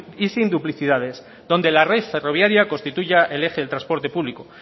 y sin duplicidades donde la red ferroviaria constituya el eje del transporte público